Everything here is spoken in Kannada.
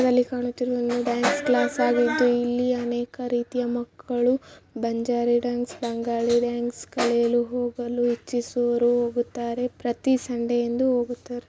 ಇಲ್ಲಿ ಕಾಣುತ್ತಿರುವುದು ಡ್ಯಾನ್ಸ್‌ ಕ್ಲಾಸ್‌ ಆಗಿರಬಹುದು ಇಲ್ಲಿಅನೇಕ ರೀತಿಯ ಮಕ್ಕಳು ಬಂಜಾರಿ ಡ್ಯಾನ್ಸ್‌ ಬಂಗಾಲಿ ಡ್ಯಾನ್ಸ್ ಕಲಿಯಲು ಹೋಗಲು ಇಚ್ಛಿಸುವವರು ಹೋಗುತ್ತಾರೆ ಪ್ರತಿ ಸಂಡೇವೂ ಹೋಗುತ್ತಾರೆ.